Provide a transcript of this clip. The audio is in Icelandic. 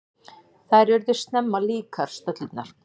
Þær urðu snemma líkar, stöllurnar.